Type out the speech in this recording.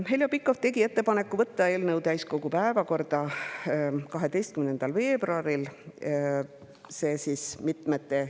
Heljo Pikhof tegi ettepaneku võtta eelnõu täiskogu päevakorda 12. veebruaril, mitmete koosolekute käigus see muutus.